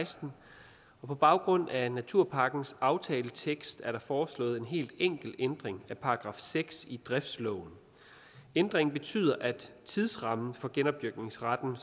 og seksten og på baggrund af naturpakkens aftaletekst er der foreslået en helt enkel ændring af § seks i driftsloven ændringen betyder at tidsrammen for genopdyrkningsretten